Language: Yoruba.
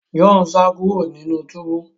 John sa kúrò nínú túbú